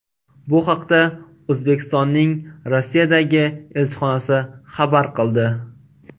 Bu haqda O‘zbekistonning Rossiyadagi elchixonasi xabar qildi.